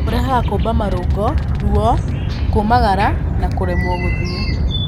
Ũrehaga kuumba marũngo, ruo, kũmagara na kũremwo gũthiĩ.